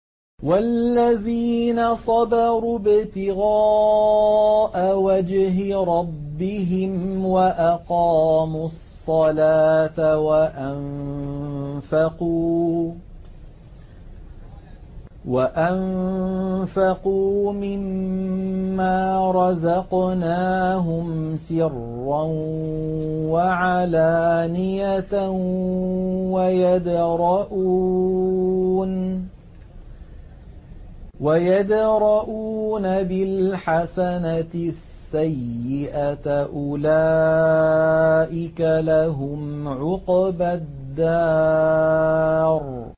وَالَّذِينَ صَبَرُوا ابْتِغَاءَ وَجْهِ رَبِّهِمْ وَأَقَامُوا الصَّلَاةَ وَأَنفَقُوا مِمَّا رَزَقْنَاهُمْ سِرًّا وَعَلَانِيَةً وَيَدْرَءُونَ بِالْحَسَنَةِ السَّيِّئَةَ أُولَٰئِكَ لَهُمْ عُقْبَى الدَّارِ